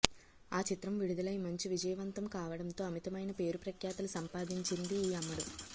ఆ చిత్రం విడుదలయి మంచి విజయవంతం కావడంతో అమితమైన పేరు ప్రఖ్యాతలు సంపాదించింది ఈ అమ్మడు